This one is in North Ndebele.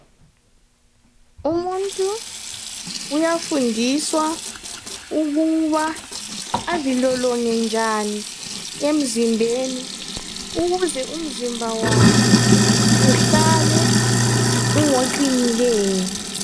Umuntu uyafundiswa ukuba azilolonge njani emzimbeni ukuze umzimba wakhe uhlale ungoqinileyo .